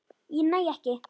Ég næ ekki.